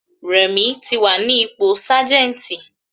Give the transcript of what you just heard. Rẹ̀mí ti wà ní ipò Sájẹ́ntì.